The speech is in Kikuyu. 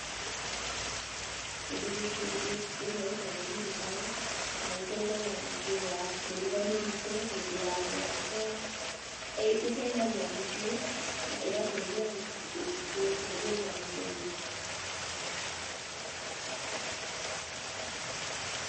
Kĩndũ gĩkĩ, ĩno ĩtagwo wheelbarrow na ĩteithagia gũkua mĩrigo mĩritũ hĩndĩ ya mĩako, ĩteithagia mũciĩ na ĩgateithia kũhũthĩria mũndũ wĩra.